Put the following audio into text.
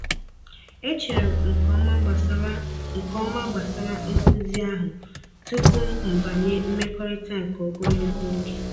E chere m nke ọma gbasara nke ọma gbasara nkuzi ahụ tupu m banye mmekọrịta nke ogologo oge.